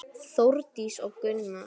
Þórdís og Gunnar.